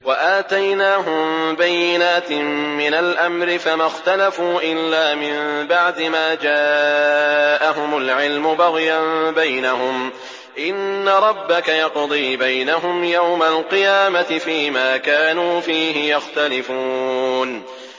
وَآتَيْنَاهُم بَيِّنَاتٍ مِّنَ الْأَمْرِ ۖ فَمَا اخْتَلَفُوا إِلَّا مِن بَعْدِ مَا جَاءَهُمُ الْعِلْمُ بَغْيًا بَيْنَهُمْ ۚ إِنَّ رَبَّكَ يَقْضِي بَيْنَهُمْ يَوْمَ الْقِيَامَةِ فِيمَا كَانُوا فِيهِ يَخْتَلِفُونَ